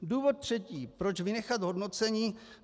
Důvod třetí, proč vynechat hodnocení.